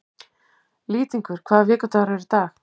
Lýtingur, hvaða vikudagur er í dag?